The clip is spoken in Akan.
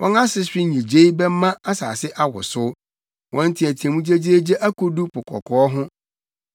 Wɔn asehwe nnyigyei bɛma asase awosow; wɔn nteɛteɛmu gyegyeegye akodu Po Kɔkɔɔ ho.